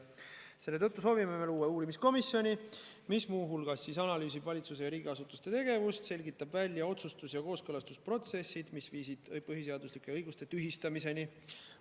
Seetõttu soovime luua uurimiskomisjoni, mis muu hulgas analüüsib valitsuse ja riigiasutuste tegevust ning selgitab välja otsustus- ja kooskõlastusprotsessid, mis viisid põhiseaduslike õiguste tühistamiseni.